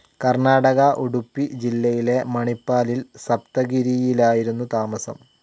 കർണാടക ഉഡുപ്പി ജില്ലയിലെ മണിപ്പാലിൽ സപ്തഗിരിയിലായിരുന്നു താമസം.